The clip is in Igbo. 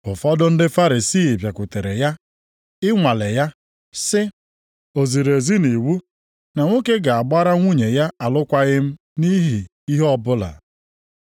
Ụfọdụ ndị Farisii bịakwutere ya i nwalee ya, sị, “O ziri ezi nʼiwu na nwoke ga-agbara nwunye ya alụkwaghị m nʼihi ihe ọbụla?”